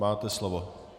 Máte slovo.